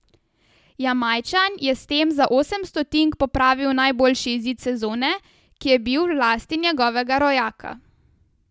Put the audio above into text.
Jamajčan je s tem za osem stotink popravil najboljši izid sezone, ki je bil v lasti njegovega rojaka .